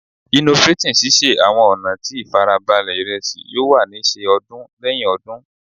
Innovating sise awọn ọna ti farabale iresi yoo wa ni ṣe ọdún lẹhin ti odun